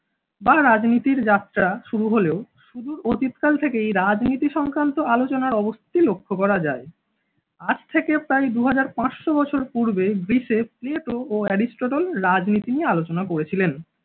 বা রাজনীতির যাত্রা শুরু হলেও সুদূর অতীতকাল থেকেই এই রাজনীতি সংক্রান্ত আলোচনা অবশ্যই লক্ষ্য করা যায়। আজ থেকে প্রায় দুই হাজার পাঁচশো বছর পূর্বে গ্রিসে প্লেটো ও এরিস্টটল রাজনীতি নিয়ে আলোচনা করেছিলেন।